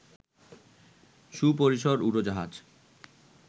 সুপরিসর উড়োজাহাজ